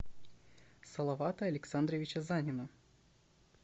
салавата александровича занина